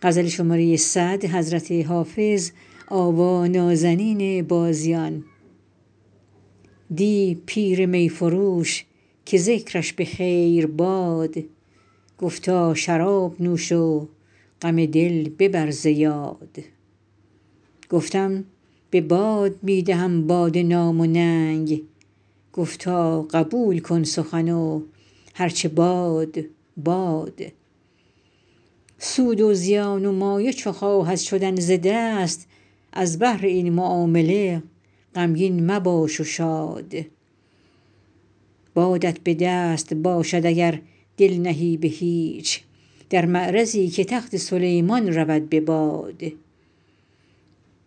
دی پیر می فروش که ذکرش به خیر باد گفتا شراب نوش و غم دل ببر ز یاد گفتم به باد می دهدم باده نام و ننگ گفتا قبول کن سخن و هر چه باد باد سود و زیان و مایه چو خواهد شدن ز دست از بهر این معامله غمگین مباش و شاد بادت به دست باشد اگر دل نهی به هیچ در معرضی که تخت سلیمان رود به باد